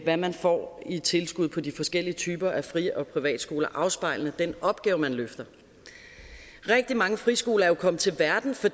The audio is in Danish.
hvad man får i tilskud på de forskellige typer af fri og privatskoler afspejlende den opgave man løfter rigtig mange friskoler er jo kommet til verden for